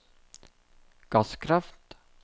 gasskraft